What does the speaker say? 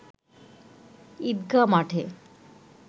ঈদগাঁ মাঠে